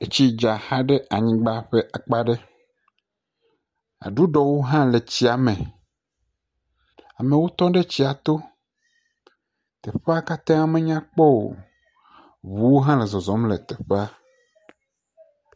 Etsi dza za ɖe anyigba ƒe akpa ɖe. Aɖuɖɔwo hã le tsia me. Amewo tɔ ɖe tsia to. Tɔƒea kata menya kpɔ o. Ŋuwo hã le zɔzɔm le tefea.